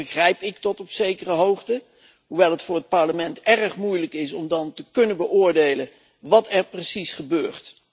Dat begrijp ik tot op zekere hoogte, hoewel het voor het Parlement dan erg moeilijk is om te kunnen beoordelen wat er precies gebeurt.